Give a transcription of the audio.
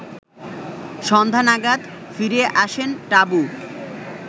সন্ধ্যা নাগাদ ফিরে আসেন টাবু